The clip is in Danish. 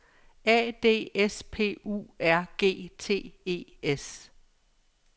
A D S P U R G T E S